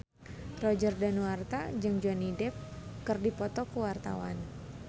Roger Danuarta jeung Johnny Depp keur dipoto ku wartawan